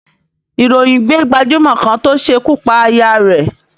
Ìròyìn gbé gbajúmọ̀ kan tó ṣekú pa aya rẹ̀